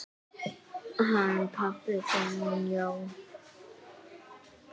Hann pabbi þinn, já.